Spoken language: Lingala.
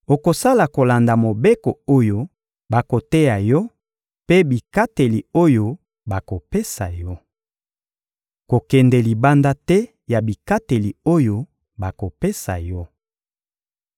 Okosala kolanda mobeko oyo bakoteya yo mpe bikateli oyo bakopesa yo. Kokende libanda te ya bikateli oyo bakopesa yo.